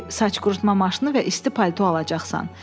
“Xeyr, saç qurutma maşını və isti palto alacaqsan.